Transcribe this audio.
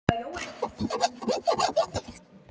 Þú ætlar ekki að flytja niður með barnið, elskan?